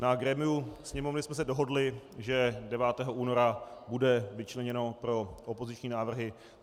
Na grémiu Sněmovny jsme se dohodli, že 9. února bude vyčleněno pro opoziční návrhy.